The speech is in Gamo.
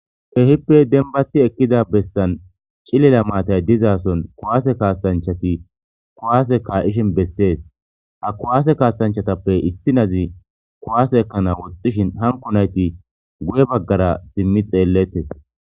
Kehipe demibati utidda bessani cilili mattayi deyisani kuwse kayishini bessesi ha kuwase kayisatappe issi na'azi ekanawu woxishini hanikoti ha xelesi